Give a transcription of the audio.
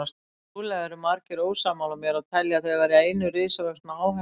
Trúlega eru margir ósammála mér og telja þau vera eina risavaxna áhættu.